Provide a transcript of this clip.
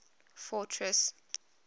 fortress